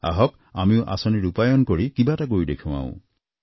আহক আমিও আঁচনি ৰূপায়ণ কৰি কিবা এটা কৰি দেখুৱাও